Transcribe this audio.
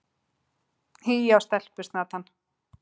Hí á stelpusnatann!